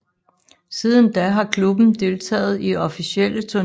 Siden da har klubben deltaget i officielle turneringer uafbrudt